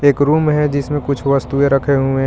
एक रूम है जिसमें कुछ वस्तुऐ रखे हुए हैं.